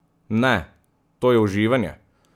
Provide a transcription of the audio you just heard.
Ne, to je uživanje!